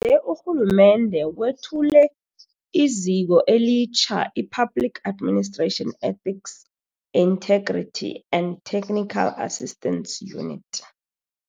je, urhulumende wethule iziko elitjha i-Public Administration Ethics, Integrity and Technical Assistance Unit.